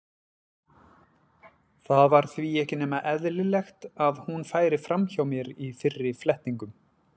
Það var því ekki nema eðlilegt að hún færi fram hjá mér í fyrri flettingum.